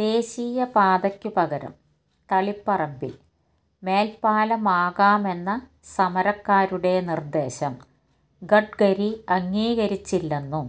ദേശീയപാതയ്ക്കുപകരം തളിപ്പറമ്പില് മേല്പ്പാലമാകാമെന്ന സമരക്കാരുടെ നിര്ദേശം ഗഡ്കരി അംഗീകരിച്ചില്ലെന്നു